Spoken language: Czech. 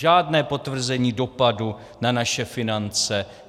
Žádné potvrzení dopadu na naše finance.